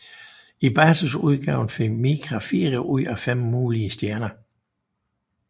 I basisudgaven fik Micra fire ud af fem mulige stjerner